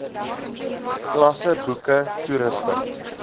klasse boeke toerusting